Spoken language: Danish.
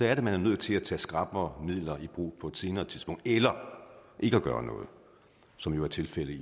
er man nødt til at tage skrappere midler i brug på et senere tidspunkt eller ikke gøre noget som jo er tilfældet i